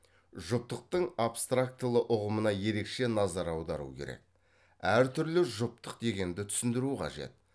жұптықтың абстрактылы ұғымына ерекше назар аудару керек әртүрлі жұптық дегенді түсіндіру қажет